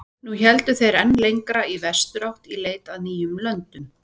Nú héldu þeir enn lengra í vesturátt í leit að nýjum löndum.